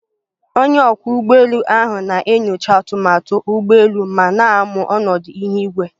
Onye ọkwọ ụgbọelu ahụ na-enyocha atụmatụ ụgbọ elu ma na-amụ ọnọdụ ihu igwe